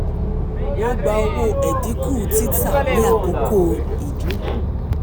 wọ́n gba owó ẹ̀dínkù títà ní àkókò ìdínkù.